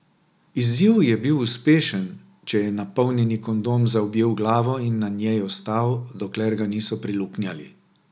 Izziv je bil uspešen, če je napolnjeni kondom zaobjel glavo in na njej ostal, dokler ga niso preluknjali.